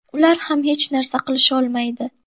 Ular ham hech narsa qilisholmaydi.